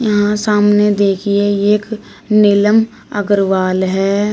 यहां सामने देखिए ये एक नीलम अग्रवाल है।